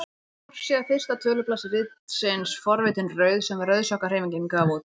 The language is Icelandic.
Forsíða fyrsta tölublaðs ritsins Forvitin rauð sem Rauðsokkahreyfingin gaf út.